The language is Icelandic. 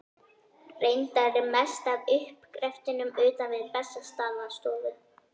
Reyndar er mest af uppgreftrinum utan við Bessastaðastofu.